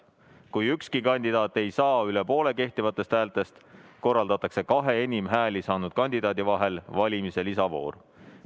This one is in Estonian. Kui ükski kandidaat ei saa üle poole kehtivatest häältest, korraldatakse kahe enim hääli saanud kandidaadi vahel valimise lisavoor.